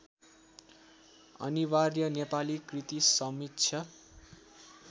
अनिवार्य नेपाली कृतिसमीक्षा